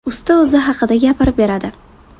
Usta o‘zi haqida gapirib beradi.